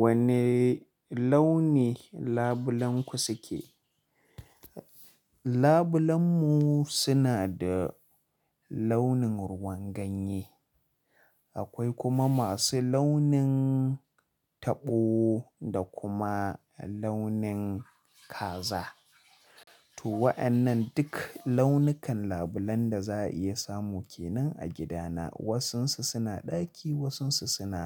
Wane launi labulenku suke? Labulen mu suna da launin ruwan ganye, akwai kuma masu launin taɓo da kuma launin kaza. To waƴannan duk launukan labulen da za a iya samu kenan a gidana. Wasunsu suna ɗaki, wasunsu suna,